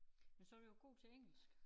Men så du jo god til engelsk